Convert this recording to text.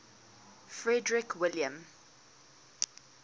frederick william